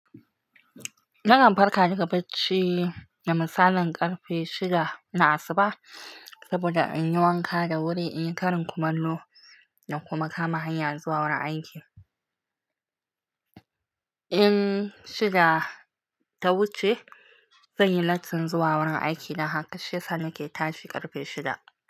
Nakan farka daga bacci da misalin ƙarfe shida na asuba saboda in yi wanka da wuri, in yi ƙarin kumallo da kuma kama hanya zuwa wurin aiki. In shida ta wuce, zan yi latti zuwa wurin aiki, da haka shiysa nake tashi ƙarfe shida.